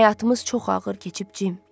Bizim həyatımız çox ağır keçib Cim.